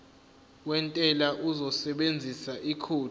wentela uzosebenzisa ikhodi